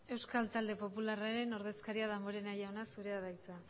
euskal talde popularraren ordezkariak damborenea jaunak dauka hitza